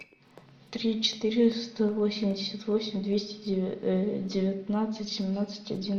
три четыреста восемьдесят восемь двести девятнадцать семнадцать один